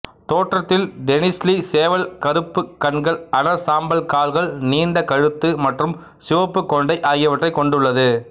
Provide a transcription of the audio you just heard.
தோற்றத்தில் டெனிஸ்லி சேவல் கருப்பு கண்கள் அடர் சாம்பல் கால்கள் நீண்ட கழுத்து மற்றும் சிவப்பு கொண்டை ஆகியவற்றைக் கொண்டுள்ளது